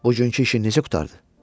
Buggünkü işin necə qurtardı?